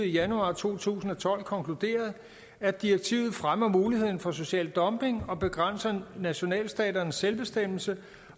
januar to tusind og tolv konkluderede at direktivet fremmer muligheden for social dumping og begrænser nationalstaternes selvbestemmelse